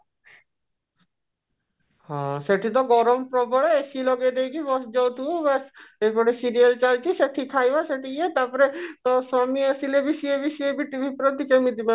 ହଁ ସେଠି ତ ଗରମ ପ୍ରବଳ AC ଲଗେଇ ଦେଇକି ବସି ଯାଉଥିବୁ ଆଉ ବାସ ଯୋଉପଟେ serial ଚାଲିଛି ସେଠି ଖାଇବା ସେଠି ଇଏ ତାପରେ ତୋ ସ୍ଵାମୀ ଆସିଲେ ବି ସିଏ ବି ସେଇ ବି TV ପ୍ରତି କେମିତି ମାନେ ତାଙ୍କର